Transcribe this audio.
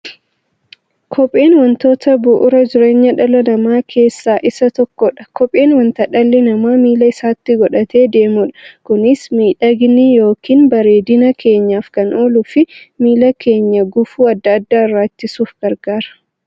Kopheen wantoota bu'uura jireenya dhala namaa keessaa isa tokkodha. Kopheen wanta dhalli namaa miilla isaatti godhatee deemudha. Kunis miidhagani yookiin bareedina keenyaf kan ooluufi miilla keenya gufuu adda addaa irraa ittisuuf gargaara.